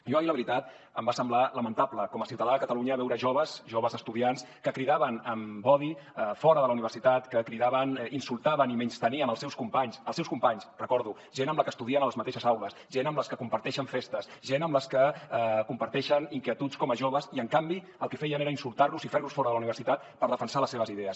jo ahir la veritat em va semblar lamentable com a ciutadà de catalunya veure joves joves estudiants que cridaven amb odi fora de la universitat que cridaven insultaven i menystenien els seus companys els seus companys ho recordo gent amb la que estudien a les mateixes aules gent amb la que comparteixen festes gent amb la que comparteixen inquietuds com a joves i en canvi el que feien era insultar los i ferlos fora de la universitat per defensar les seves idees